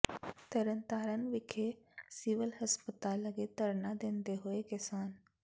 ਤਰਨ ਤਾਰਨ ਵਿਖੇ ਸਿਵਲ ਹਸਪਤਾਲ ਅੱਗੇ ਧਰਨਾ ਦਿੰਦੇ ਹੋਏ ਕਿਸਾਨ